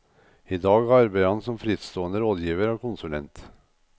I dag arbeider han som frittstående rådgiver og konsulent.